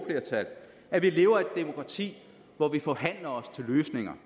flertal at vi lever i et demokrati hvor vi forhandler os til løsninger